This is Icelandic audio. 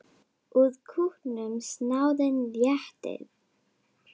Úr kútnum snáðinn réttir.